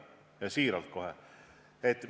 Kohe siiralt!